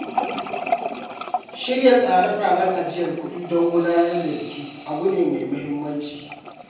Shirya tsare-tsaren ajiyar kuɗi don gudanar da biki abu ne mai muhimmanci.